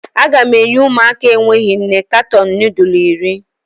Aga m enye ụmụaka enweghị nne katọn nudul iri.